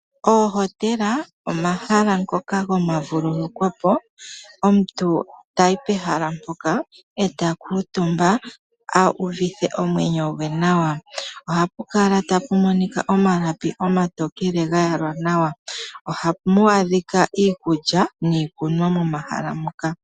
Ohotela omahala ngoka gomavululukwapo omuntu tayi pehala mpoka etakutumba ahuvithe omwenyo gweh nawa ohapu kala tapumonika omalapi omatokele gayalwa nawa ohamu adhika iikulya niikunwa momahala moka.